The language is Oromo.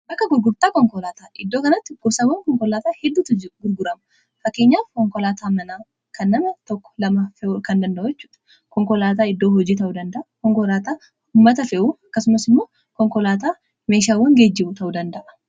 akka gurgurtaa konkolaataa iddoo kanatti gursawwan konkolaataa hedduu gurguramu fakkeenyaa konkolaataa mana kan nama tokko lama eu kan danda’achu konkolaataa iddoo hojii ta'uu danda'a konkoraataa ummata fe'uu akkasumas immoo konkolaataa meeshaawwan geejji'u ta'uu danda'a